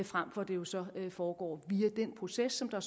frem for det jo så foregår via den proces som der